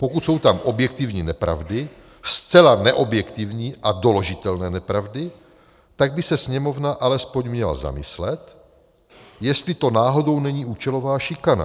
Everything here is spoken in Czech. Pokud jsou tam objektivní nepravdy, zcela neobjektivní a doložitelné nepravdy, tak by se Sněmovna alespoň měla zamyslet, jestli to náhodou není účelová šikana.